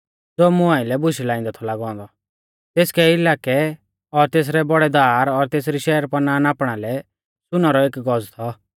ज़ो मुं आइलै बुशै लाइंदै थौ लागौ औन्दौ तेसकै इलाकै और तेसरै बौड़ै दार और तेसरी शहरपनाह नापणा लै सुनै रौ एक गज़ थौ